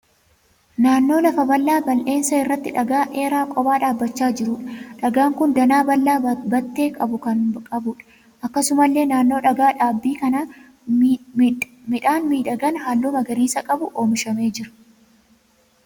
Naannoo lafa bal'aa bal'eensa irratti dhagaa dheeraa kophaa dhaabbachaa jiruudha. Dhagaan kun danaa bal'aa battee qabu kan qabuudha. Akkasumallee naannoo dhagaa dhaabbii kanaa midhaan miidhagaan halluu magariisa qabu oomishamee jira.